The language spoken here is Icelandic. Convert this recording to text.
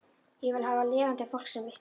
Ég vil hafa lifandi fólk sem vitni